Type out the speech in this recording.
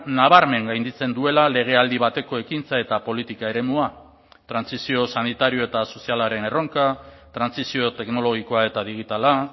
nabarmen gainditzen duela legealdi bateko ekintza eta politika eremua trantsizio sanitario eta sozialaren erronka trantsizio teknologikoa eta digitala